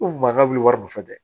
Ko maa wili wari dun tɛ